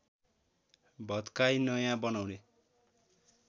भत्काई नयाँ बनाउने